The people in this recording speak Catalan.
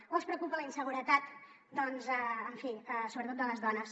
o els preocupa la inseguretat en fi sobretot de les dones